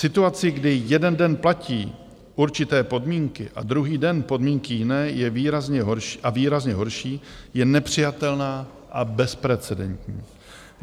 Situace, kdy jeden den platí určité podmínky a druhý den podmínky jiné a výrazně horší, je nepřijatelná a bezprecedentní.